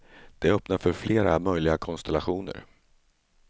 Det öppnar för flera möjliga konstellationer.